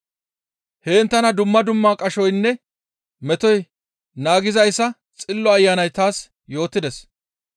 Heen tana dumma dumma qashoynne metoy naagizayssa Xillo Ayanay taas yootides.